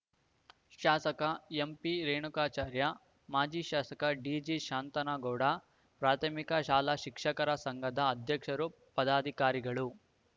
ಶಾಸಕ ಎಂಪಿರೇಣುಕಾಚಾರ್ಯ ಮಾಜಿ ಶಾಸಕ ಡಿಜಿ ಶಾಂತನಗೌಡ ಪ್ರಾಥಮಿಕ ಶಾಲಾ ಶಿಕ್ಷಕರ ಸಂಘದ ಅಧ್ಯಕ್ಷರು ಪದಾಧಿಕಾರಿಗಳು